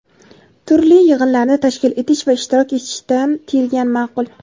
turli yig‘inlarni tashkil etish va ishtirok etishdan tiyilgan ma’qul.